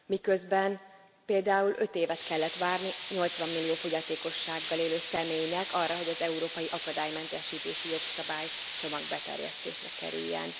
Miközben például 5 évet kellett várni 80 millió fogyatékossággal élő személynek arra, hogy az európai akadálymentesítési jogszabálycsomag beterjesztésre kerüljön.